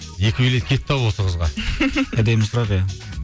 екі билет кетті ау осы қызға әдемі сұрақ иә